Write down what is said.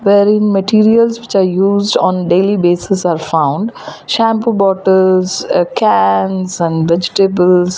where in materials which are used on daily basis are found shampoo bottles uh cans and vegetables.